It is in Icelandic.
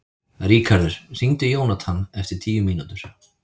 Ríkharður, hringdu í Jónathan eftir tíu mínútur.